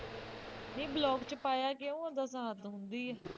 ਨਹੀਂ block ਚ ਪਾਇਆ ਕਿਉਂ ਉਹਦਾ ਸਾਥ ਆਉਂਦੀ ਹੈ